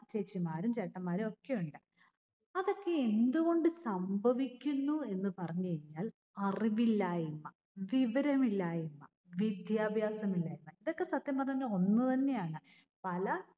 ചേച്ചിമാരും ചേട്ടന്മാരും ഒക്കെ ഉണ്ട് അതൊക്കെ എന്തുകൊണ്ട് സംഭവിക്കുന്നു എന്ന് പറഞ്ഞകഴിഞ്ഞാൽ അറിവില്ലായ്‍മ. വിവരമില്ലായ്മാ. വിദ്യാഭ്യാസമില്ലായ്മ. ഇതൊക്കെ സത്യം പറഞ്ഞു കഴിഞ്ഞ ഒന്ന്തന്നെയാണ്. പല